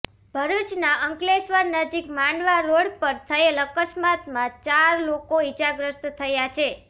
ભરૂચના અંકલેશ્વર નજીક માંડવા રોડ પર થયેલ અકસ્માતમાં ચાર લોકો ઈજાગ્રસ્ત થયા છે